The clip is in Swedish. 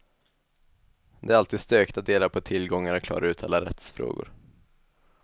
Det är alltid stökigt att dela på tillgångar och klara ut alla rättsfrågor.